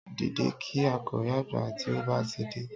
Dìde kí àkọ̀wé àgbà tí ó bá ti dé